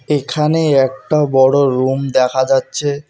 এখানে একটা বড়ো রুম দেখা যাচ্ছে।